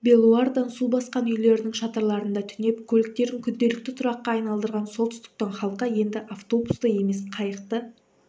белуардан су басқан үйлерінің шатырларында түнеп көліктерін күнделікті тұраққа айналдырған солтүстіктің халқы енді автобусты емес қайықты